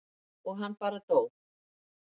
og hann bara dó.